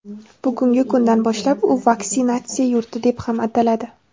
Bugungi kundan boshlab u vaksinatsiya yurti deb ham ataladi.